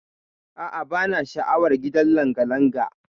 A'a bana sha'awar gidan langalanga.